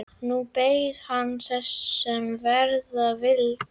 Nú beið hann þess, sem verða vildi.